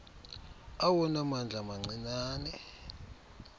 awona mandla mancinane